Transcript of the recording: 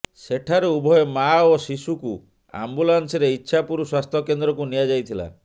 ସେଠାରୁ ଉଭୟ ମା ଓ ଶିଶୁକୁ ଆମ୍ବୁଲାନସରେ ଇଚ୍ଛାପୁର ସ୍ୱାସ୍ଥ୍ୟ କେନ୍ଦ୍ରକୁ ନିଆଯାଇଥିଲା